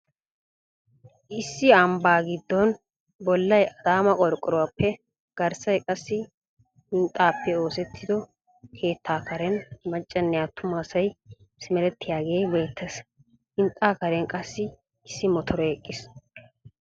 Issi ambbaa gidoon bollay adaama qorqoruwappe garssay qassi hinxxaappe oosettido keettaa karen maccanne attuma asay simerettiyagee beettees. Hinxxaa karen qassi issi motore eqqiis.